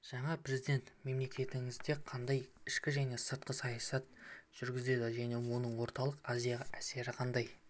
жаңа президент мемлекетіңізде қандай ішкі және сыртқы саясат жүргізеді және оның орталық азияға әсері қандай